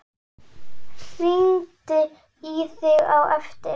Hringi í þig á eftir.